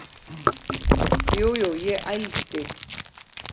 Jú, jú, ég ældi.